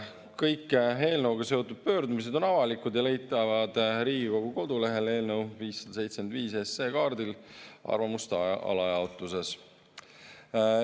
Kõik eelnõuga seotud pöördumised on avalikud ja on leitavad Riigikogu kodulehelt eelnõu 575 kaardil arvamuste alajaotuses.